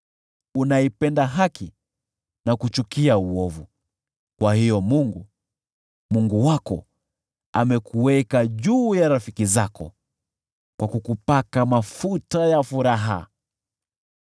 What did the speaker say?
Unaipenda haki na kuchukia uovu; kwa hiyo Mungu, Mungu wako, amekuweka juu ya wenzako, kwa kukupaka mafuta ya furaha.